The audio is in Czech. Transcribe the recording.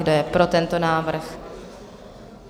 Kdo je pro tento návrh?